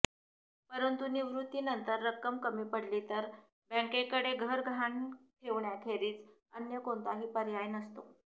परंतु निवृत्तीनंतर रक्कम कमी पडली तर बँकेकडे घर गहाण ठेवण्याखेरीज अन्य कोणताही पर्याय नसतो